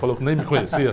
Falou que nem me conhecia.